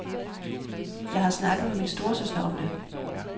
Jeg har snakket med min storesøster om det.